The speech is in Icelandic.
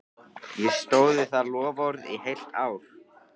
Ég stóð við það loforð í heilt ár.